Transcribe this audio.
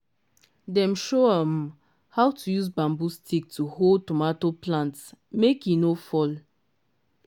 dem show um how to use bamboo stick to hold tomato plantmake he no fall